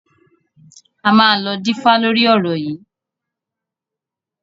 A máa lọ dífá lórí ọ̀rọ̀ yìí.